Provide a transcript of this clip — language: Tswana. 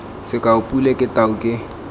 sekao pule ke tau ke